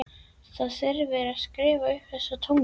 Það þyrfti að skrifa upp þessa tónlist.